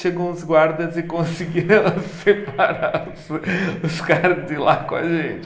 Chegou uns guardas e conseguiram separar os os caras de lá com a gente.